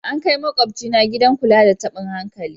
An kai makwabcina gidan kula da tabin hankali.